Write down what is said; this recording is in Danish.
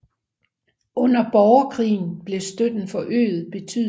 Under borgerkrigen blev støtten forøget betydeligt